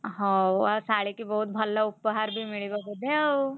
ହଉ ଆଉ ଶଳୀକି ବହୁତ୍ ଭଲ ଉପହାର ବି ମିଳିବ ବୋଧେ ଆଉ?